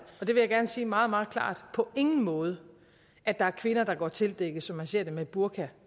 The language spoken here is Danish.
og det vil jeg gerne sige meget meget klart på ingen måde at der er kvinder der går tildækkede som man ser det med burka